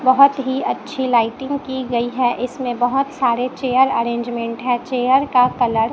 बहोत ही अच्छी लाइटिंग की गई है इसमें बहोत सारे चेयर अरेंजमेंट है चेयर का कलर --